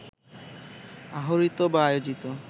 আহরিত বা আয়োজিত